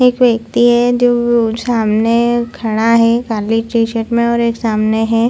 एक वेक्ति है जो सामने खड़ा है काली टी शर्ट में और एक सामने है।